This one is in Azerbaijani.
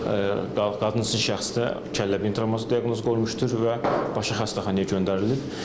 Qadın cinsli şəxsdə kəllə-beyin travması diaqnozu qoyulmuşdur və başı xəstəxanaya göndərilib.